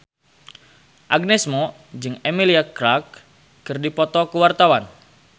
Agnes Mo jeung Emilia Clarke keur dipoto ku wartawan